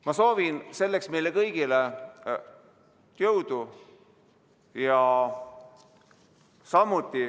Ma soovin selleks meile kõigile jõudu!